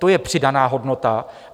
To je přidaná hodnota.